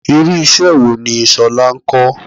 Irú iṣẹ́ wo ni Ṣọlá ń kọ?